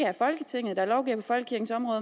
er folketinget der lovgiver på folkekirkens område